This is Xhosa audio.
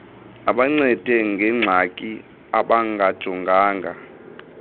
abancede ngengxaki abangajongana